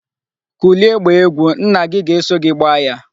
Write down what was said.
Kulie gbaa egwu. Nna gi ga-eso gi gbaa ya.